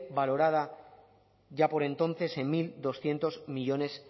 valorada ya por entonces en mil doscientos millónes